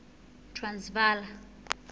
transvala